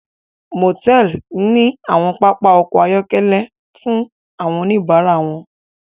Motẹẹli ní awọn papa ọkọ ayọkẹlẹ fún awọn onibara wọn